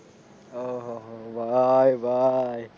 ઓહહો ભાઈ ભાઈ